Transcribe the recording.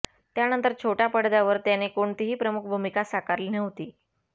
त्यानंतर छोट्या पडद्यावर त्याने कोणतीही प्रमुख भूमिका साकारली नव्हती